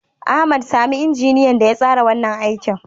Ahmad, sami injiniyan da ya tsara wannan aikin.